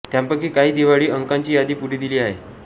त्यांपैकी काही दिवाळी अंकांची यादी पुढे दिली आहे